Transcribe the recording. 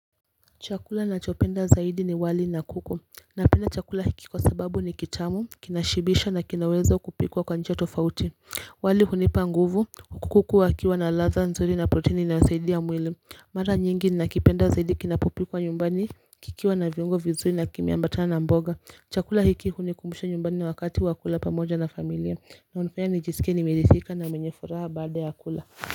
Chakula nachopenda zaidi ni wali na kuku, napenda chakula hiki kwa sababu ni kitamu, kinashibisha na kinaweza kupikwa kwa njia tofauti wali hunipa nguvu huku kuku wakiwa na ladha nzuri na proteni inayosaidia mwili Mara nyingi ninakipenda zaidi kinapopikwa nyumbani kikiwa na viungo vizuri na kimeambatana na mboga chakula hiki hunikumbisha nyumbani na wakati wa kula pamoja na familia na hunifanya nijiskie nimeridhika na mwenye furaha baada ya kula.